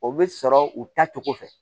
O bɛ sɔrɔ u ta cogo fɛ